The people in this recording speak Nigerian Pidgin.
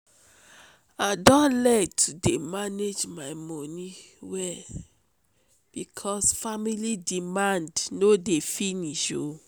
i don learn to manage my moni well because family demand no no dey finish.